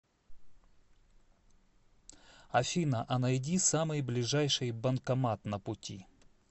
афина а найди самый ближайший банкомат на пути